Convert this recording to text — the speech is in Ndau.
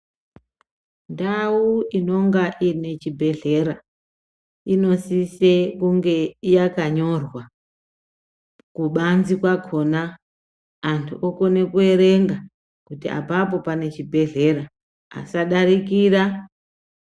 Ndau inonga ine chibhedhlera, inosise kunge yakanyorwa kubanzi kwakona, antu okone kuerenga kuti apapo pane chibhedhlera asadarikira.